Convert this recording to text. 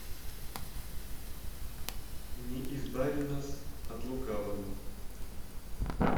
не избави нас от лукавого